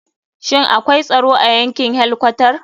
Shin akwai tsaro a yankin helkwatar?